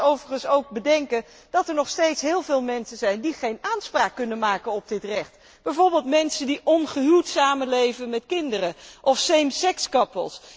Laten we overigens ook bedenken dat er nog steeds heel veel mensen zijn die geen aanspraak kunnen maken op dit recht, bijvoorbeeld mensen die ongehuwd samen leven met kinderen of paren van gelijk geslacht.